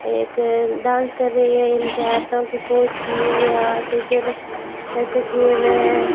एक डांस कर रही है इनके हाथों की पोछती हुई है हाथ इधर ऐसे किए हुए हैं।